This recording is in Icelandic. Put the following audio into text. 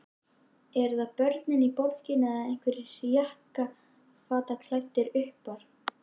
Eru það börnin í borginni eða einhverjir jakkafataklæddir uppar?